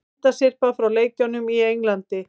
Myndasyrpa frá leikjunum í Englandi